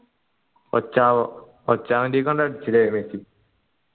ഒച്ചാവോ ഒച്ചാവോ മെസ്സി